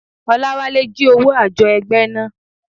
Oláwálé jí owó àjọ ẹgbẹ́ náà.